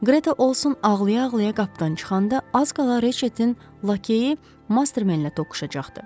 Qreta Olsson ağlaya-ağlaya qapıdan çıxanda az qala Reçetin lakeyi Mastermenlə toqquşacaqdı.